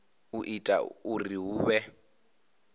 u ita uri hu vhe